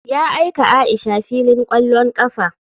Ya aika aisha filin kwallon kafa.